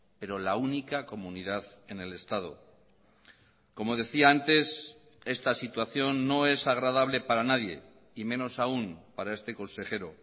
pero la única comunidad en el estado como decía antes esta situación no es agradable para nadie y menos aún para este consejero